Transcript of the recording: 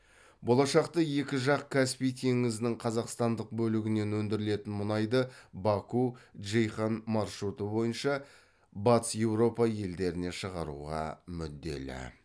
болашақта екі жақ каспий теңізінің қазақстандық бөлігінен өндірілетін мұнайды баку джейхан маршруты бойынша батыс еуропа елдеріне шығаруға мүдделі